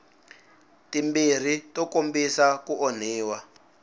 timbirhi to kombisa ku onhiwa